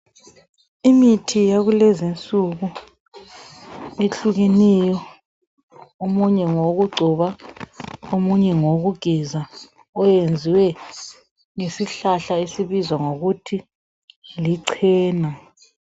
Imithi yakulezinsuku ehlukeneyo ,omunye ngowokugcoba .Omunye ngowokugeza oyenziwe ngesihlahla esibizwa ngokuthi licena.